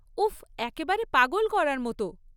উফ্, একেবারে পাগল করার মতো।